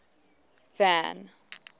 van